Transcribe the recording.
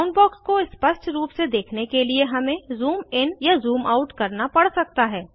bound box को स्पष्ट रूप से देखने के लिए हमें ज़ूम इन या ज़ूम आउट करना पड़ सकता है